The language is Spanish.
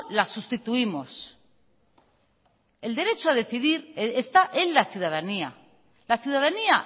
la sustituimos el derecho a decidir está en la ciudadanía la ciudadanía